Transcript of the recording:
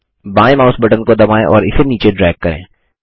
बायें mouse button को दबाएँ और इसे नीचे ड्रैग करें